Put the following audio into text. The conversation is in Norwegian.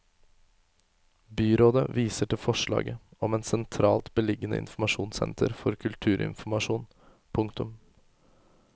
Byrådet viser til forslaget om et sentralt beliggende informasjonssenter for kulturinformasjon. punktum